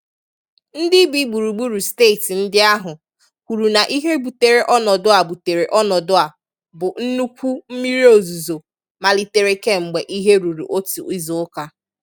Ndị bi gburugburu steeti ndị ahụ kwuru na ihe butere ọnọdụ a butere ọnọdụ a bụ nnukwu mmiri ozuzo malitere kemgbe ihe ruru otu izuụka.